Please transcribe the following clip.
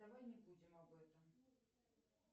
давай не будем об этом